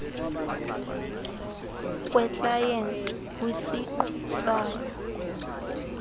kweklayenti kwisiqu sayo